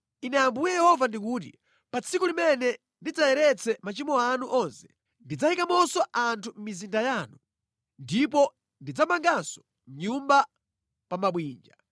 “Ine Ambuye Yehova ndikuti: Pa tsiku limene ndidzayeretse machimo anu onse, ndidzayikamonso anthu mʼmizinda yanu, ndipo ndidzamanganso nyumba pa mabwinja.